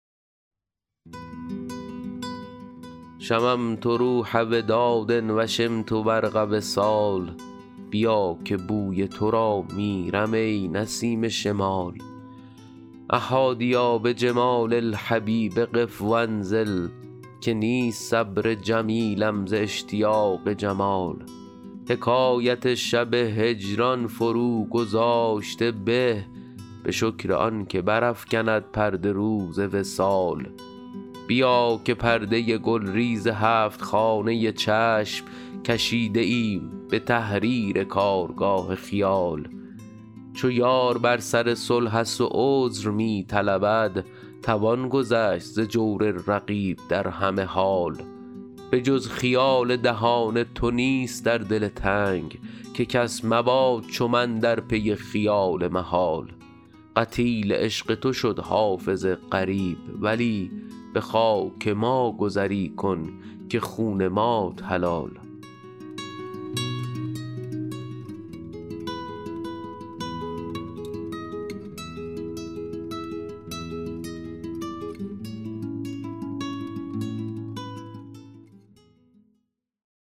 شممت روح وداد و شمت برق وصال بیا که بوی تو را میرم ای نسیم شمال أ حادیا بجمال الحبیب قف و انزل که نیست صبر جمیلم ز اشتیاق جمال حکایت شب هجران فروگذاشته به به شکر آن که برافکند پرده روز وصال بیا که پرده گلریز هفت خانه چشم کشیده ایم به تحریر کارگاه خیال چو یار بر سر صلح است و عذر می طلبد توان گذشت ز جور رقیب در همه حال به جز خیال دهان تو نیست در دل تنگ که کس مباد چو من در پی خیال محال قتیل عشق تو شد حافظ غریب ولی به خاک ما گذری کن که خون مات حلال